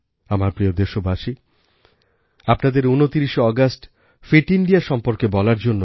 আমার প্রিয় দেশবাসী আপনাদের ২৯শে আগস্ট ফিট ইন্ডিয়া সম্পর্কে বলার জন্য